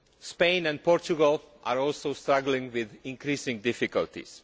Spain and Portugal are also struggling with increasing difficulties.